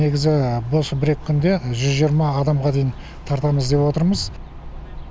негізі осы бір екі күнде жүз жиырма адамға дейін тартамыз деп отырмыз